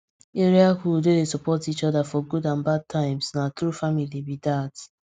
area hood wey dey support each other for good and bad times na true family be dat